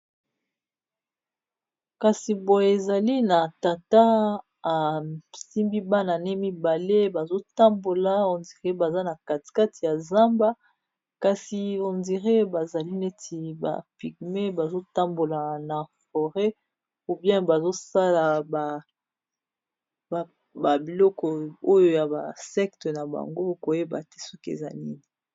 kasi boye ezali na tata asimbi bana ne mibale bazotambola hondire baza na katikate ya zamba kasi ondire bazali neti ba pigme bazotambola na foret ou bien bazosala babiloko oyo ya ba secte na bango koyeba te soki eza nini